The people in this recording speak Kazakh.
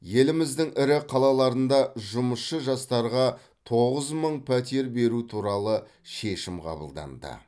еліміздің ірі қалаларында жұмысшы жастарға тоғыз мың пәтер беру туралы шешім қабылданды